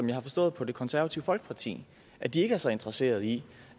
jeg har forstået på det konservative folkeparti at de ikke er så interesseret i